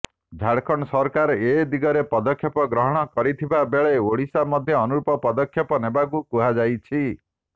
ଝାଡ଼ଖଣ୍ଡ ସରକାର ଏ ଦିଗରେ ପଦକ୍ଷେପ ଗ୍ରହଣ କରିଥିବା ବେଳେ ଓଡ଼ିଶା ମଧ୍ୟ ଅନୁରୂପ ପଦକ୍ଷେପ ନେବାକୁ କୁହାଯାଇଛି